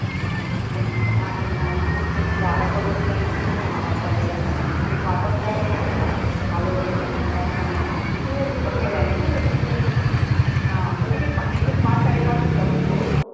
मग चहा ठेवला आणि मग मस्त गारा पडत होत्या आणि मस्त वाफ आलेला चहा मग एक वातावरण तयार होत ना गं, आलं वगैरे टाकून चहा छान लागतो मग केला मी हान मग ते पाच साडे पाच होतातच रोज